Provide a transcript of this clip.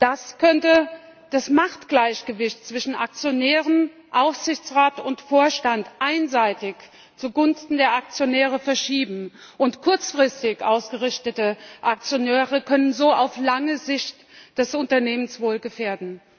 Das könnte das Machtgleichgewicht zwischen Aktionären, Aufsichtsrat und Vorstand einseitig zugunsten der Aktionäre verschieben, und kurzfristig ausgerichtete Aktionäre können so auf lange Sicht das Unternehmenswohl gefährden.